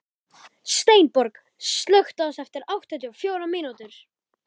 Steinborg, slökktu á þessu eftir áttatíu og fjórar mínútur.